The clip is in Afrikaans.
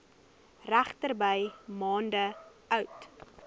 regterdy maande oud